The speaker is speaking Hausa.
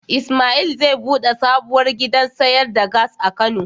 Ismail zai bude sabuwar gidan sayar da Gas a kano.